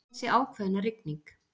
Þessi ákveðna rigning.